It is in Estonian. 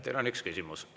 Teile on üks küsimus.